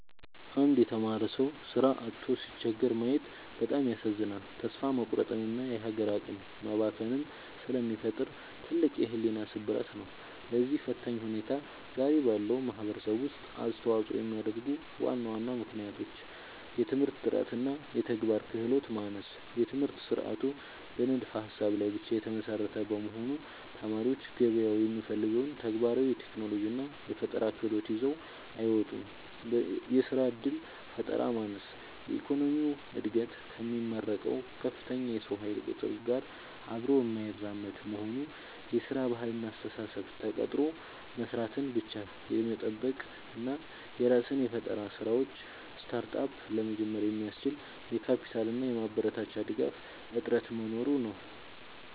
አንድ የተማረ ሰው ሥራ አጥቶ ሲቸገር ማየት በጣም ያሳዝናል፤ ተስፋ መቁረጥንና የሀገር አቅም መባከንን ስለሚፈጥር ትልቅ የሕሊና ስብራት ነው። ለዚህ ፈታኝ ሁኔታ ዛሬ ባለው ማኅበረሰብ ውስጥ አስተዋፅኦ የሚያደርጉ ዋና ዋና ምክንያቶች፦ የትምህርት ጥራትና የተግባር ክህሎት ማነስ፦ የትምህርት ሥርዓቱ በንድፈ-ሀሳብ ላይ ብቻ የተመሰረተ በመሆኑ፣ ተማሪዎች ገበያው የሚፈልገውን ተግባራዊ የቴክኖሎጂና የፈጠራ ክህሎት ይዘው አይወጡም። የሥራ ዕድል ፈጠራ ማነስ፦ የኢኮኖሚው ዕድገት ከሚመረቀው ከፍተኛ የሰው ኃይል ቁጥር ጋር አብሮ የማይራመድ መሆኑ። የሥራ ባህልና አስተሳሰብ፦ ተቀጥሮ መሥራትን ብቻ የመጠበቅ እና የራስን የፈጠራ ሥራዎች (Startup) ለመጀመር የሚያስችል የካፒታልና የማበረታቻ ድጋፍ እጥረት መኖሩ ነው።